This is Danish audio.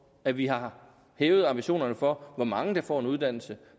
at vi har hævet ambitionerne for hvor mange der får en uddannelse